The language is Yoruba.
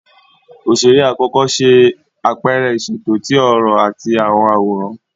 Oṣere akọkọ ṣe apẹrẹ iṣeto ti ọrọ ati awọn aworan.